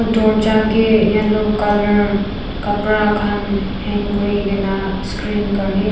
dorja kae yellow colour kapra khan hang kurikaena screen karne--